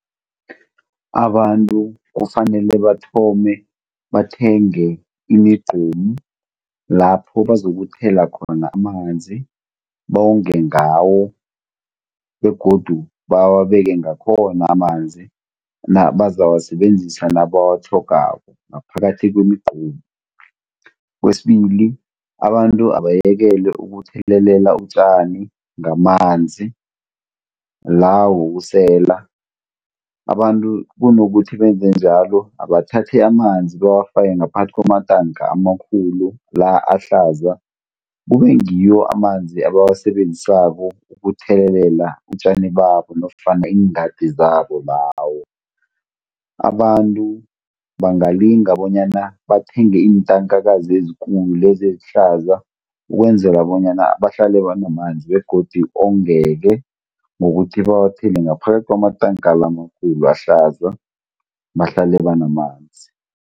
Abantu kufanele bathome bathenge imigqomu lapho bazokuthela khona amanzi, bonge ngawo begodu bawabeke ngakhona amanzi bazawasebenzisa nabawatlhogako ngaphakathi kwemigqomu. Kwesibili abantu abayekele ukuthelelela utjani ngamanzi la wokusela, abantu kunokuthi benze njalo abathathe amanzi bawafake ngaphakathi kwamatanka amakhulu la ahlaza kube ngiwo amanzi abawasebenzisako ukuthelelela utjani babo nofana iingadi zabo ngawo. Abantu bangalinga bonyana bathenge iintankakazi ezikulu lezi ezihlaza ukwenzela bonyana bahlale banamanzi begodu ongeke ngokuthi bawathele ngaphakathi kwamatanka la amakhulu ahlaza, bahlale banamanzi.